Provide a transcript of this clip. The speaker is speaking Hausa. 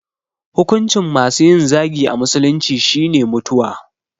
Hukuncin masu yin zagi a musulunci shine mutuwa